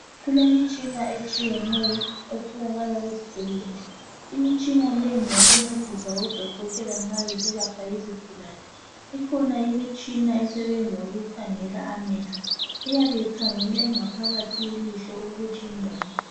Kulemtshina etshiyeneyo etholaka ezibhedlela ,imitshina le ngeyo kuncedisa odokotela nxa besalapha izigulane ,ikhona imitshina esebenza ukukhangela amehlo iyabe ikhangela ingaphakathi ye lihlo ukuthi iminjani.